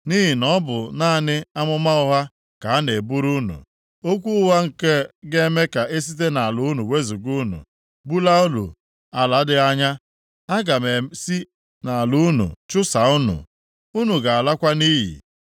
Nʼihi na ọ bụ naanị amụma ụgha ka ha na-eburu unu, okwu ụgha nke ga-eme ka e site nʼala unu wezuga unu, bulaa unu ala dị anya. Aga m esi nʼala unu chụsaa unu. Unu ga-alakwa nʼiyi.